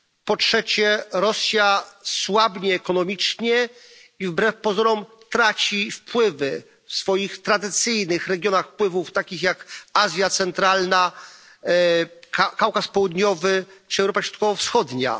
Po trzecie, Rosja słabnie ekonomicznie i wbrew pozorom traci wpływy w swoich tradycyjnych regionach wpływów, takich jak Azja Centralna, Kaukaz Południowy czy Europa Środkowo Wschodnia.